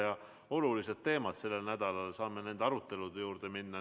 Meil on olulised teemad sellel nädalal, saame ehk nüüd nende arutelude juurde minna.